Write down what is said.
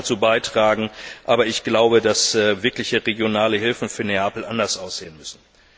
Das mag dazu beitragen, aber ich glaube, dass wirkliche regionale Hilfen für Neapel anders aussehen müssen.